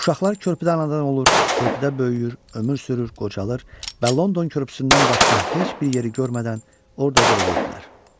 Uşaqlar körpüdən ana olurlar, körpüdə böyüyür, ömür sürür, qocalır və London körpüsündən başqa heç bir yeri görmədən ordaca ölürdülər.